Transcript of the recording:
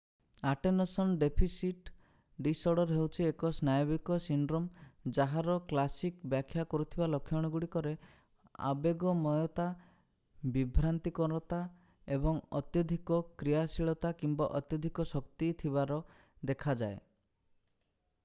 attention deficit disorder ହେଉଛି ଏକ ସ୍ନାୟବିକ ସିଣ୍ଡ୍ରୋମ ଯାହାର କ୍ଲାସିକ୍ ବ୍ୟାଖ୍ୟା କରୁଥିବା ଲକ୍ଷଣଗୁଡିକରେ ଆବେଗମୟତା ବିଭ୍ରାନ୍ତିକରତା ଏବଂ ଅତ୍ୟଧିକ କ୍ରିୟାଶୀଳତା କିମ୍ବା ଅତ୍ୟଧିକ ଶକ୍ତି ଥିବାର ଦେଖାଯାଏ